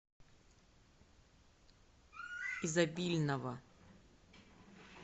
изобильного